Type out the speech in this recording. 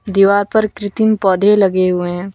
दीवार पर कृत्रिम पौधे लगे हुए हैं।